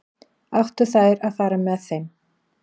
Áttu þær að fara með þeim?